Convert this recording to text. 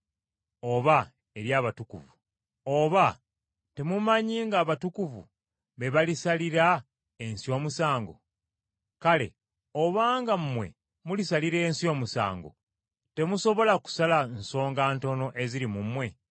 Oba temumanyi ng’abatukuvu be balisalira ensi omusango? Kale obanga mmwe mulisalira ensi omusango, temusobola kusala nsonga ntono eziri mu mmwe?